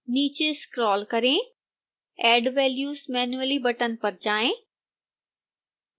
नीचे स्क्रोल करें add values manually button पर जाएं